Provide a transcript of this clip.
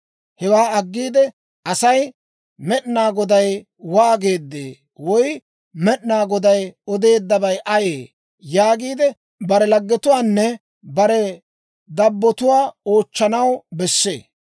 Hewaa aggiide asay, ‹Med'inaa Goday waageedee?› woy, ‹Med'inaa Goday odeeddabay ayee?› yaagiide bare laggetuwaanne bare dabbotuwaa oochchanaw bessee.